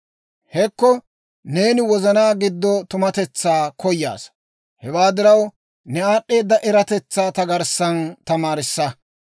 Hekko neeni wozana giddo tumatetsaa koyaasa; hewaa diraw, ne aad'd'eeda eratetsaa ta garssan tamaarissa.